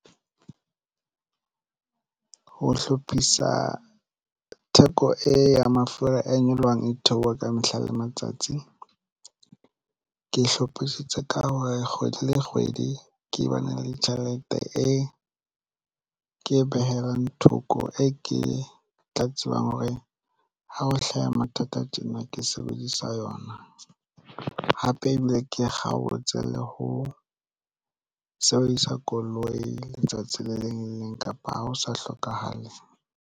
Ho hlophisa theko e ya mafura a nyolohang e theoha ka mehla le matsatsi ke hlophisitse ka hore kgwedi le kgwedi ke bana le ditjhelete e ke behelang thoko e ke tla tsebang hore ha ho hlaha mathata tjena ke sebedisa yona hape ebile ke kgaotse le ho sebedisa koloi letsatsi le leng le leng kapa ha ho sa hlokahale.